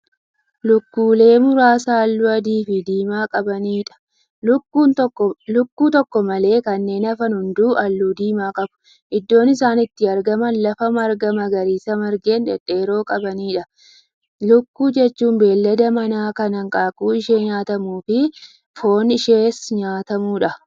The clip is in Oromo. Lukkulee muraasa halluu adii Fi diimaa qabaniidha. lukkuun tokko malee kanneen hafan hunduu halluu diimaa qabu. iddoon isaan itti argaman lafa margaa magariisa margeen dhedheeroo qabaniidha. lukkuu jechuun beeylada mana Kan hanqaaquun ishee nyaatamuufi, foon ishees nyaatamuudha.